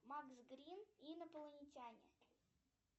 макс грин инопланетяне